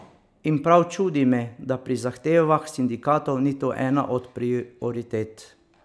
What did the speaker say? In prav čudi me, da pri zahtevah sindikatov ni to ena od prioritet.